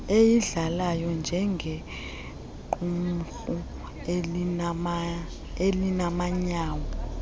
eyidlalayo njengequmrhu elimanyayo